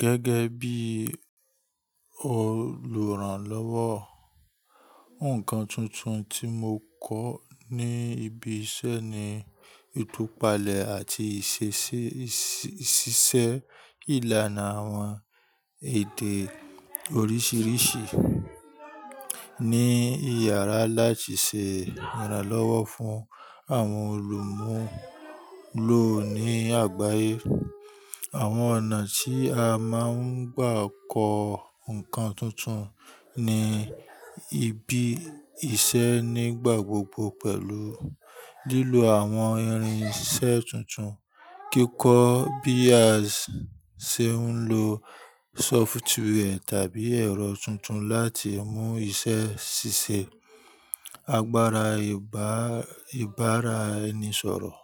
Gẹ́gẹ́ bí olùrànlọ́wọ́, ǹkan tuntun tí mo kọ́ ní ibi iṣẹ́ ni ìtúpalẹ̀ àti ìṣiṣẹ́ ìlànà àwọn èdè oríṣiríṣi ní iyàrá láti ṣe ìrànlọ́wọ́ fún àwọn olùmúlò ní àgbáyé. Àwọn ọ̀nà tí a máa ń gbà kọ ǹkan tuntun ní ibi iṣẹ́ ní gbàgbọ́ gbogbo pẹ̀lú lílo àwọn irin iṣẹ́ tuntun, kíkọ́ bí a ṣe ń lo sófútíwẹ́ tàbí ẹ̀rọ tuntun láti mú iṣẹ́ ṣíṣe, agbára ìbára ẹni sọ̀rọ̀,